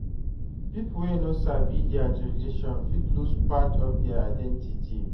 Pipo wey no sabi dia tradition fit lose part of dia identity